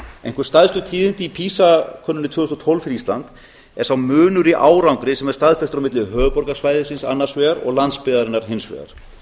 einhver stærstu tíðindi í pisa könnuninni tvö þúsund og tólf fyrir ísland er sá munur í árangri sem er staðfestur á milli höfuðborgarsvæðisins annars vegar og landsbyggðarinnar hins vegar